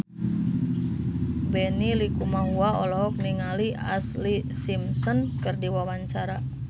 Benny Likumahua olohok ningali Ashlee Simpson keur diwawancara